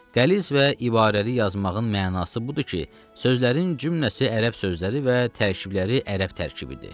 Qəliz və ibarəli yazmağın mənası budur ki, sözlərin cümləsi ərəb sözləri və tərkibləri ərəb tərkibidir.